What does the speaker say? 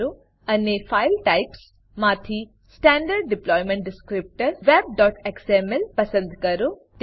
અને file types file types માંથી standard deployment descriptor web XML standard deployment descriptor web XML પસંદ કરો